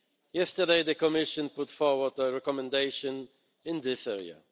Yesterday, the Commission put forward a recommendation in this area.